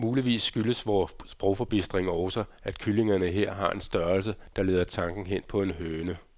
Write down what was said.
Muligvis skyldes vor sprogforbistring også, at kyllingerne her har en størrelse, der leder tanken hen på en høne.